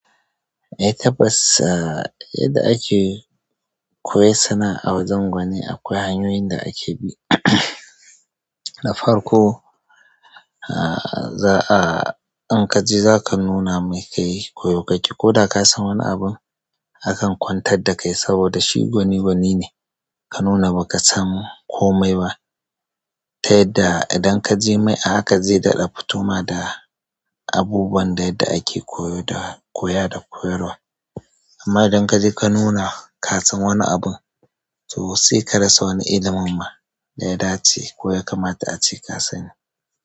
Eh tabbas, ah yadda ake koyan sana'a a wajen gwani akwai hanyoyin da ake bi. Na farko, ah, za'a in kaje zaka nuna mai kai koyo kake, koda kasan wani abun akan kwantar dakai saboda shi gwani, gwani ne ka nuna baka san komai ba. Ta yadda idan kaje mai a haka zai daɗa fito ma da abubuwan da yadda ake koyo da koya da koyarwa amma idan kaje ka nuna kasan wani abun, to sai ka rasa wani ilimin ma ɗaya dace ko ya kamata ace ka sani.